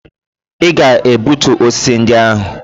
Ị ga-egbutu osisi ndị ahụ!